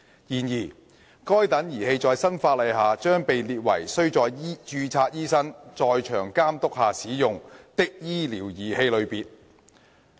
然而，該等儀器在新法例下將被列為須在註冊醫生在場監督下使用的醫療儀器類別。